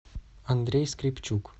андрей скрепчук